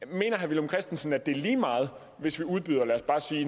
mener herre villum christensen at det er lige meget hvis vi udbyder